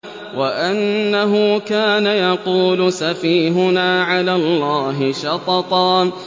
وَأَنَّهُ كَانَ يَقُولُ سَفِيهُنَا عَلَى اللَّهِ شَطَطًا